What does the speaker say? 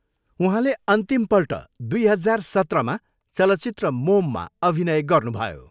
उहाँले अन्तिमपल्ट दुई हजार सत्रमा चलचित्र मोममा अभिनय गर्नुभयो।